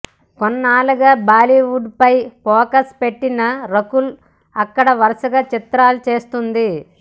కొన్నాళ్లుగా బాలీవుడ్ పై ఫోకస్ పెట్టిన రకుల్ అక్కడ వరుసగా చిత్రాలు చేస్తుంది